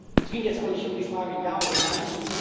Es ging jetzt auch nicht um die Frage Ja oder Nein.